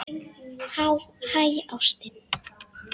Hæ, ástin.